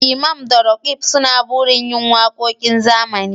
Imam da Roqeeb suna burin yin wakokin zamani